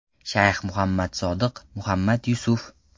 Shayx Muhammad Sodiq Muhammad Yusuf.